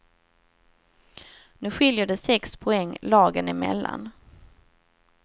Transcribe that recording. Nu skiljer det sex poäng lagen emellan.